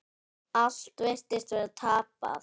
Allt virtist vera tapað.